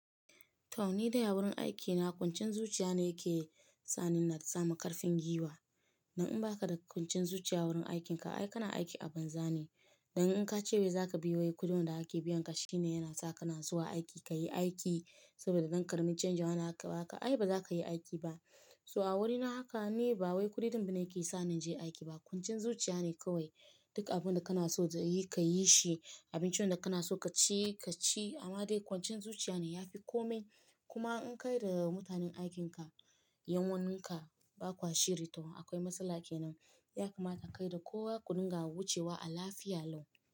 Toh ni dai a wurin aikina kwanciyan zuciya ne yake sa ni na samu ƙarfin guiwa. Dan in ba ka da kwanciyan zuciya wurin aikinka ai kana aiki a banza ne. Dan in ka ce bai za ka biya wa kuɗin da ake biyan ka shi ne yana sa ka na zuwa aiki ka yi aiki saboda don ƙaramin canji wanda aka ba ka ai ba za ka yi aiki ba. So a wurina haka ne ba wai kuɗi din ba ne yake sa ni je aiki ba kwanciyan zuciya ne kawai. Duk abin da kana so ka yi kayi shi, abincin da kana so ka ci ka ci amma dai kwancin zuciya ne ya fi kome. Kuma in ka yarda da mutanen aikin ka, yan uwanka ba kwa shiri to akwai matsala kenan. Ya kamata kai da kowa ku dinga wucewa a lafiya lau.